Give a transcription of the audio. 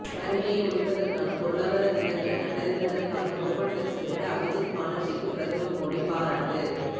வறுமையை ஒழிப்பதற்கான பொருளாதார திட்டங்களை கண்டறிந்ததற்காக நோபல் பரிசு பெற்ற அபிஜித் பானர்ஜிக்கு பிரதமர் மோடி பாராட்டு